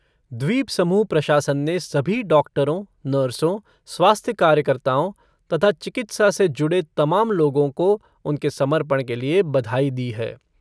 द्वीपसमूह प्रशासन ने सभी डॉक्टरों, नर्सों, स्वास्थ्य कार्यकताओं तथा चिकित्सा से जुड़े तमाम लोगों को उनके समर्पण के लिए बधाई दी है।